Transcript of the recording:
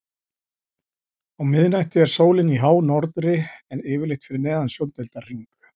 Á miðnætti er sólin í hánorðri en yfirleitt fyrir neðan sjóndeildarhring.